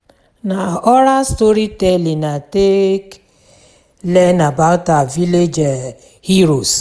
Na oral storytelling I take learn about our village heroes.